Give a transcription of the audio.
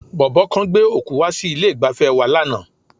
Bọ̀bọ́ kan gbé òkú wá sí ilé-ìgbafẹ́ wa lánàá.